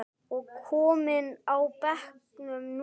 og kominn á bekkinn núna?